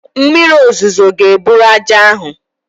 Mmiri ozuzo ga-eburu ájá ahụ